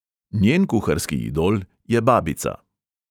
Njen kuharski idol je babica.